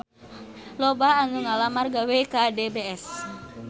Loba anu ngalamar gawe ka DBS